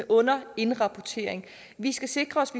underindrapportering vi skal sikre os